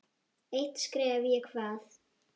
Eitt stef ég kvað.